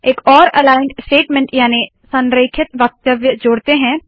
एक और aligned statement याने संरेखित वक्तव्य जोड़ते है